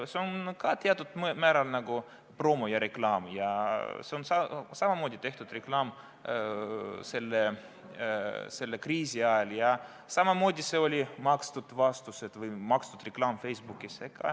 See on ka teatud määral nagu promo ja reklaam ning seda samamoodi tehti kriisi ajal ja samamoodi see oli makstud reklaam Facebookis.